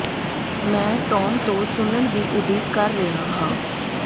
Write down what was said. ਮੈਂ ਟੋਮ ਤੋਂ ਸੁਣਨ ਦੀ ਉਡੀਕ ਕਰ ਰਿਹਾ ਹਾਂ